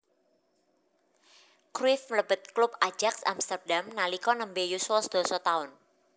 Cruyff mlebet klub Ajax Amsterdam nalika nembe yuswa sedasa taun